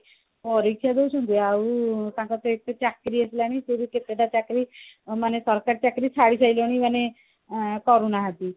ପରୀକ୍ଷା ଦଉଛନ୍ତି ଆଉ ତାଙ୍କର ତ ଏଇଠି କୋଉଠି ଚାକିରି ହେଲାନି ସେ ବି କେତେଟା ଚାକିରି ମାନେ ସରକାରୀ ଚାକିରି ଛାଡି ସାରିଲେଣି ଆଁ କରୁନାହାନ୍ତି